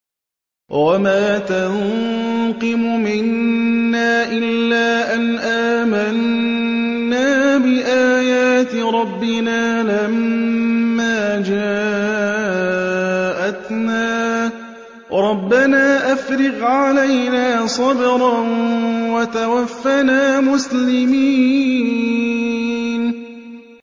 وَمَا تَنقِمُ مِنَّا إِلَّا أَنْ آمَنَّا بِآيَاتِ رَبِّنَا لَمَّا جَاءَتْنَا ۚ رَبَّنَا أَفْرِغْ عَلَيْنَا صَبْرًا وَتَوَفَّنَا مُسْلِمِينَ